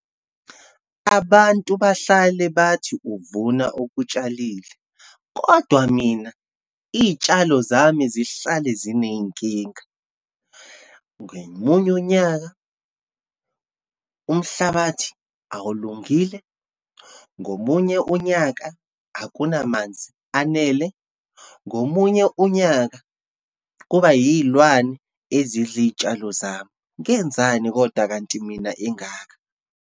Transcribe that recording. Abantu bahlale bathi uvuna okutshalile, kodwa mina iyitshalo zami zihlale zineyinkinga. Ngomunye unyaka, umhlabathi awulungile, ngomunye unyaka, akunamanzi anele, ngomunye unyaka, kuba iyilwane ezidla iyitshalo zami. Ngenzani kodwa kanti mina engaka?